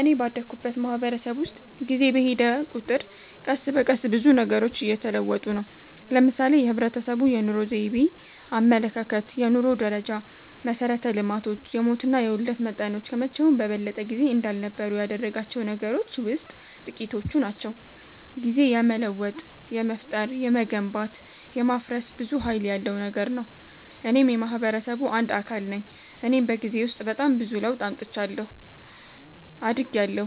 እኔ ባደኩበት ማህበረሰብ ውስጥ ጊዜ በሔደ ቁጥር ቀስ በቀስ ብዙ ነገሮች እየተለወጡ ነው። ለምሳሌ የህብረተሰቡ የኑሮ ዘይቤ፣ አመለካከት፣ የኑሮ ደረጃ፣ መሠረተ ልማቶች፣ የሞትና የውልደት መጠኖች ከመቼውም በበለጠ ጊዜ እንዳልነበሩ ያደረጋቸው ነገሮች ውሥጥ ጥቂቶቹ ናቸው። ጊዜ የመለወጥ፣ የመፍጠር፣ የመገንባት፣ የማፍረስ ብዙ ሀይል ያለው ነገር ነው። እኔም የማህበረሰቡ አንድ አካል ነኝ እኔም በጊዜ ውስጥ በጣም ብዙ ለውጥ አምጥቻለሁ። አድጊያለሁ፣